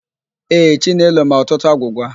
Ee, Chinelo ma ọtụtụ agwụgwa.